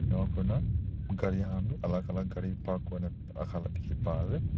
ena kurna gari khan bi alak alak gari park kurina rakha la dikhi paase.